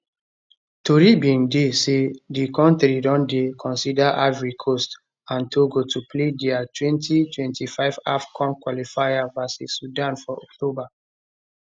tori bin dey say di kontri don dey consider ivory coast and togo to play dia 2025 afcon qualifier vs sudan for october